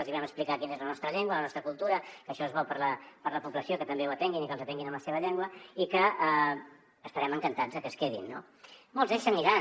els vam explicar quina és la nostra llengua la nostra cultura que això és bo per a la població que també ho atenguin i que els atenguin en la seva llengua i que estarem encantats que es quedin no molts d’ells se n’aniran